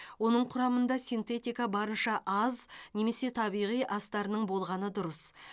оның құрамында синтетика барынша аз немесе табиғи астарының болғаны дұрыс